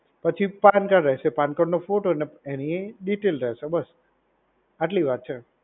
પછી પાનકાર્ડ રહેશે, પાનકાર્ડનો ફોટો ને, એની ડિટેલ રહેશે. બસ આટલી વાત છે.